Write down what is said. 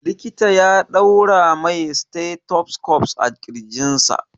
Likita ya ɗaura mai stethoscope a ƙirji.